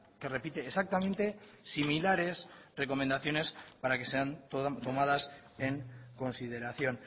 que repite exactamente similares recomendaciones para que sean tomadas en consideración